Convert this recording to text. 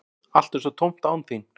Allt er svo tómt án þín.